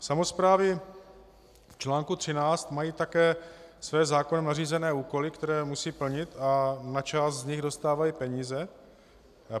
Samosprávy v čl. 13 mají také své zákonem nařízené úkoly, které musí plnit, a na část z nich dostávají peníze.